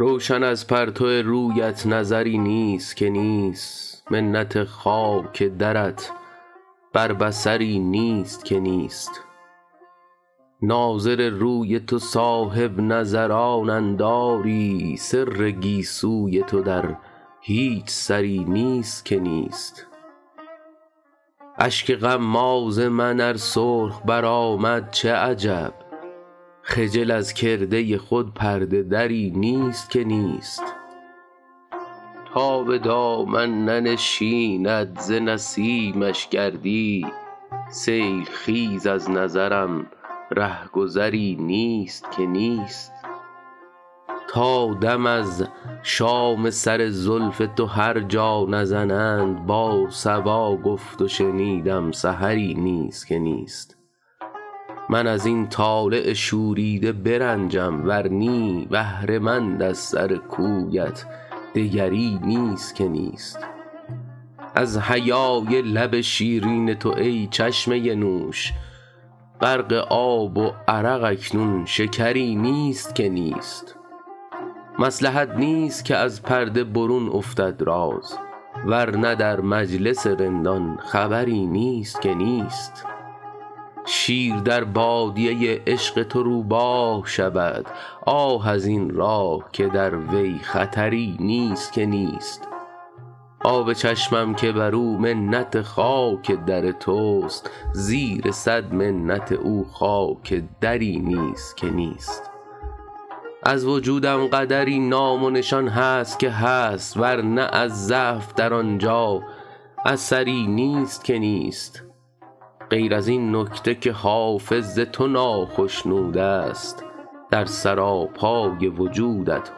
روشن از پرتو رویت نظری نیست که نیست منت خاک درت بر بصری نیست که نیست ناظر روی تو صاحب نظرانند آری سر گیسوی تو در هیچ سری نیست که نیست اشک غماز من ار سرخ برآمد چه عجب خجل از کرده خود پرده دری نیست که نیست تا به دامن ننشیند ز نسیمش گردی سیل خیز از نظرم ره گذری نیست که نیست تا دم از شام سر زلف تو هر جا نزنند با صبا گفت و شنیدم سحری نیست که نیست من از این طالع شوریده برنجم ور نی بهره مند از سر کویت دگری نیست که نیست از حیای لب شیرین تو ای چشمه نوش غرق آب و عرق اکنون شکری نیست که نیست مصلحت نیست که از پرده برون افتد راز ور نه در مجلس رندان خبری نیست که نیست شیر در بادیه عشق تو روباه شود آه از این راه که در وی خطری نیست که نیست آب چشمم که بر او منت خاک در توست زیر صد منت او خاک دری نیست که نیست از وجودم قدری نام و نشان هست که هست ور نه از ضعف در آن جا اثری نیست که نیست غیر از این نکته که حافظ ز تو ناخشنود است در سراپای وجودت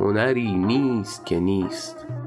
هنری نیست که نیست